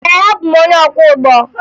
Ee, abụ m onye ọkwọụgbọ